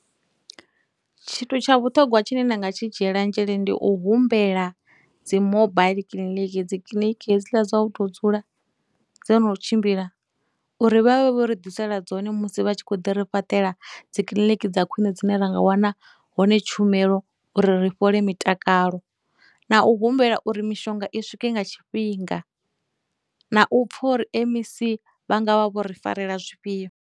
Tshithu tsha vhuṱhongwa tshine nda nga tshi dzhiela nzhele ndi u humbela dzi mobile clinic, dzikiḽiniki hedzila dza u tou dzula dzo no tshimbila uri vha vhe vho ri ḓisela dzone musi vha tshi khou ḓi ri fhaṱela dzikiḽiniki dza khwiṋe dzine ra nga wana hone tshumelo uri ri fhole mitakalo, na u humbela uri mishonga i swike nga tshifhinga, na u pfha uri M_E_C vha nga vha vho ri farela zwifhio.